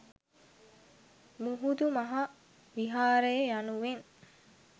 මුහුදු මහ විහාරය යනුවෙන්